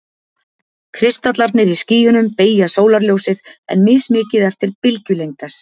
Kristallarnir í skýjunum beygja sólarljósið, en mismikið eftir bylgjulengd þess.